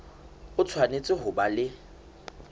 o tshwanetse ho ba le